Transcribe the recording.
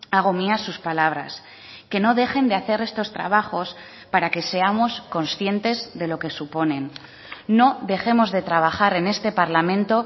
hago mía sus palabras que no dejen de hacer estos trabajos para que seamos conscientes de lo que suponen no dejemos de trabajar en este parlamento